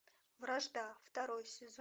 вражда второй сезон